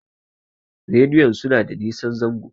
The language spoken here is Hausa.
rediyon suna da nosan zango